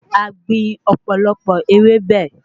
A gbìn òpòlopò ewébẹ̀